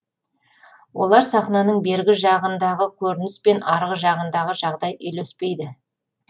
олар сахнаның бергі жағындағы көрініс пен арғы жағындағы жағдай үйлеспейді